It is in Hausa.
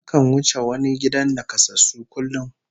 Nakan wuce wani gidan nakasassu kullum